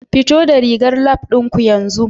Fito rigar Lab ɗin ku yanzu